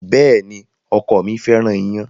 Bẹ́ẹ̀ni, ọkọ mi fẹ́ràn ìyàn